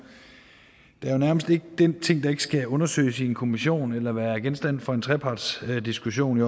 der er nærmest ikke den ting der ikke skal undersøges i en kommission eller være genstand for en trepartsdiskussion